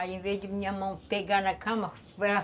Aí, em vez de minha mão pegar na cama, ela